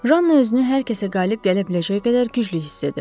Janna özünü hər kəsə qalib gələ biləcək qədər güclü hiss edirdi.